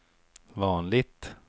vanligt